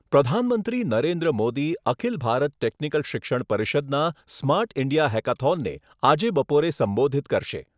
પ્રધાનમંત્રી નરેન્દ્ર મોદી અખિલ ભારત ટેકનિકલ શિક્ષણ પરિષદના સ્માર્ટ ઇન્ડિયા હેકાથોનને આજે બપોરે સંબોધિત કરશે.